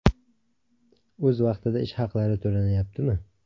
o‘z vaqtida ish haqlari to‘lanayaptimi?